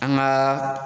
An ka